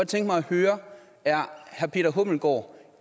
tænke mig at høre er herre peter hummelgaard